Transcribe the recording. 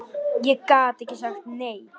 Ég gat ekki sagt nei.